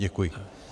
Děkuji.